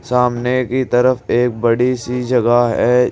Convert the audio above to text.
सामने की तरफ एक बड़ी सी जगह है।